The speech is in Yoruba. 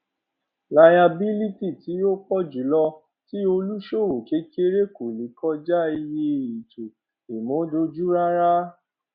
layabílítì tí ó pọ jùlọ tí olùṣowó kékeré kò lè kọjá iye ètò ìmúdójú rárá